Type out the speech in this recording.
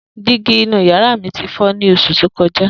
Digi inu yara mi ti fọ ni oṣu to kọja.